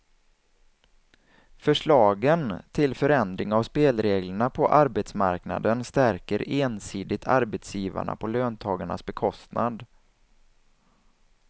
Förslagen till förändring av spelreglerna på arbetsmarknaden stärker ensidigt arbetsgivarna på löntagarnas bekostnad.